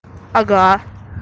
ага